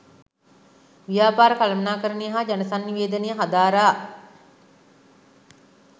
ව්‍යාපාර කළමණාකරනය හා ජනසන්නිවේදනය හදාරා